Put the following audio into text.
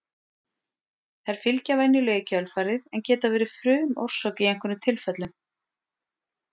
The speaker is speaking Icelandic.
Þær fylgja venjulega í kjölfarið en geta verið frumorsök í einhverjum tilfellum.